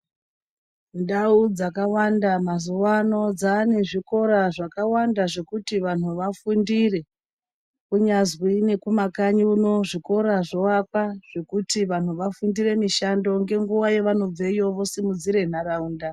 Ndawo dzakawanda mazuvaano dzaanezvikora zvakawanda zvekuti vanhu vafundire kunyazwi nekumakanyi kuno zvikora zvovakwa zvekuti vanhu vafundire mishando ngenguva yavanobveyo vasimudzire ntaraunda.